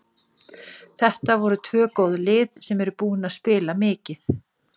Þetta voru tvö góð lið sem eru búin að spila mikið.